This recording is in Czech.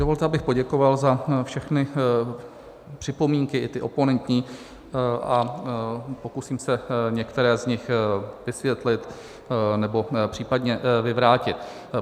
Dovolte, abych poděkoval za všechny připomínky, i ty oponentní, a pokusím se některé z nich vysvětlit, nebo případně vyvrátit.